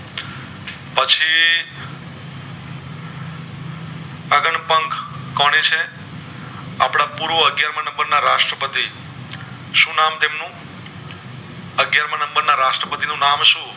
કોણ એ છે આપડા પૂર્વ અગિયારમા નંબર ના રાષ્ટ્ર પતિ શું નામે છે એમનું અગિયાર માં number ના રાષ્ટ્રપતિ નું નામ સુ